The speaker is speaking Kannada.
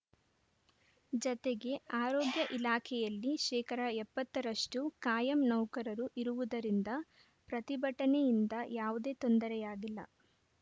ಜತೆಗೆ ಆರೋಗ್ಯ ಇಲಾಖೆಯಲ್ಲಿ ಶೇಕಡಾ ಎಪ್ಪತ್ತ ರಷ್ಟುಕಾಯಂ ನೌಕರರು ಇರುವುದರಿಂದ ಪ್ರತಿಭಟನೆಯಿಂದ ಯಾವುದೇ ತೊಂದರೆಯಾಗಿಲ್ಲ